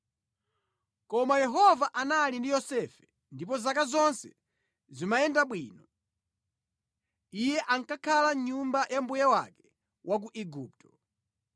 Koma Yehova anali ndi Yosefe ndipo zake zonse zimayenda bwino. Iye ankakhala mʼnyumba ya mbuye wake wa ku Igupto.